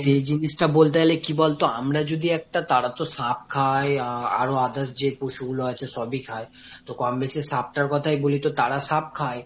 সেই জিনিসটা বলতে গেলে কি বলতো, আমরা যদি একটা তারা তো সাপ খায়, আহ আরো others যে পশুগুলো আছে সবই খায়। তো কম-বেশি সাপটার কথাই বলি। তো তারা সাপ খায়।